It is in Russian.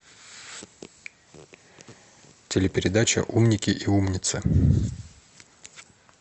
телепередача умники и умницы